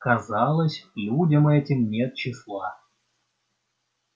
казалось людям этим нет числа